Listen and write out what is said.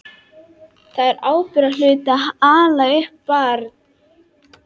Það er ábyrgðarhluti að ala upp barn.